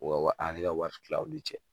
O ka wari ale ka wari tila aw ni cɛ